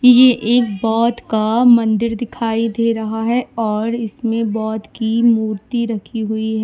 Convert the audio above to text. ये एक बौद्ध का मंदिर दिखाई दे रहा है और इसमें बौद्ध की मूर्ति रखी हुई है।